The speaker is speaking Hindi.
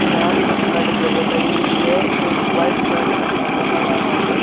यहाँ कुछ खाली जगह पड़ी हुई है। एक वाइट कलर का मकान बना हुआ है। यहाँ पे